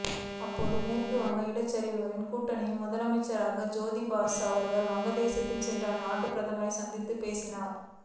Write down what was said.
அப்போது மேற்கு வங்க இடதுசாரிகளின் கூட்டணியின் முதலமைச்சரான ஜோதிபாசு அவர்கள் வங்கத் தேசத்திற்குச் சென்று அந்நாட்டுப் பிரதமரைச் சந்தித்துப் பேசினார்